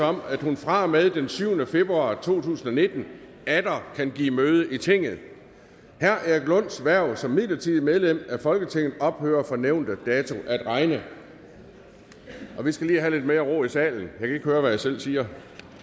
om at hun fra og med den syvende februar to tusind og nitten atter kan give møde i tinget erik lunds hverv som midlertidigt medlem af folketinget ophører fra nævnte dato at regne vi skal lige have lidt mere ro i salen kan ikke høre hvad jeg selv siger